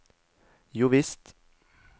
jovisst